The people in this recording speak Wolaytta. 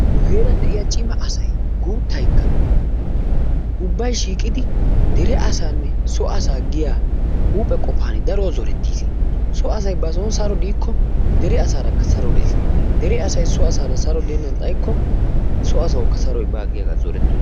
nu heeran de'iya cimma asay guutaykka ubbay shiiqidi dere asaanne so asa giya huuphe qofan daruwa zorettis. so asay bason saro diiko dere asaaarakka saro des, dere asay so asara saro deennan xayikko so asawukka saroy baawa giyagaa zoretoosona.